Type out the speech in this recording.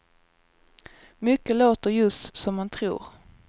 Mycket låter just som man tror.